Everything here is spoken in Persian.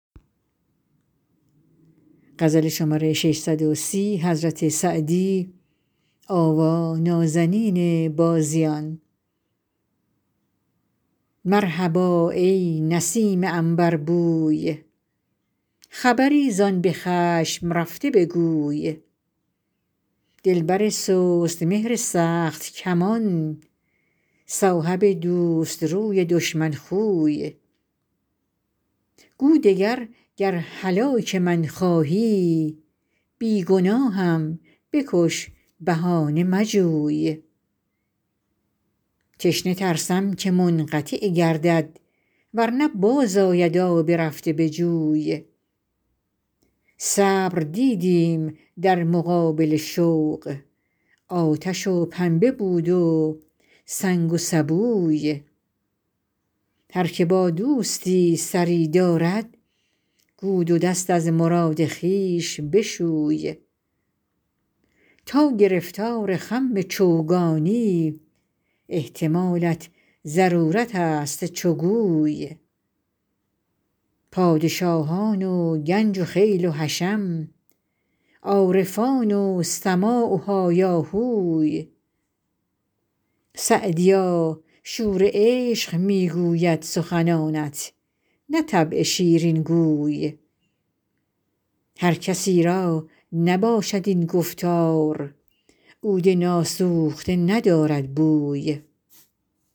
مرحبا ای نسیم عنبربوی خبری زآن به خشم رفته بگوی دلبر سست مهر سخت کمان صاحب دوست روی دشمن خوی گو دگر گر هلاک من خواهی بی گناهم بکش بهانه مجوی تشنه ترسم که منقطع گردد ور نه باز آید آب رفته به جوی صبر دیدیم در مقابل شوق آتش و پنبه بود و سنگ و سبوی هر که با دوستی سری دارد گو دو دست از مراد خویش بشوی تا گرفتار خم چوگانی احتمالت ضرورت است چو گوی پادشاهان و گنج و خیل و حشم عارفان و سماع و هایاهوی سعدیا شور عشق می گوید سخنانت نه طبع شیرین گوی هر کسی را نباشد این گفتار عود ناسوخته ندارد بوی